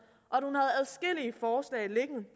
og